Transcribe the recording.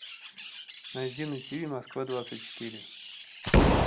найди на тв москва двадцать четыре